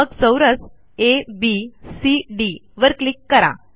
मग चौरस एबीसीडी वर क्लिक करा